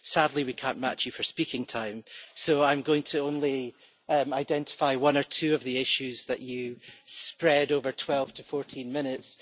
Sadly, we cannot match you for speaking time, so I am only going to identify one or two of the issues that you spread over 12 to 14 minutes.